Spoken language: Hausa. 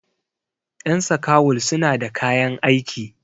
yan sakawul suna da kayan aiki